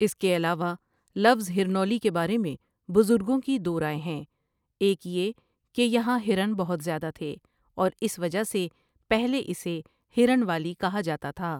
اس کے علاوہ لفظ ہرنولی کے بارے میں بزگوں کی دو رائے ہیں ایک یہ کہ یہاں ہرن بہت زیادہ تھے اور اس وجہ سے پہلے اسے ہرن والی کہا جاتا تھا ۔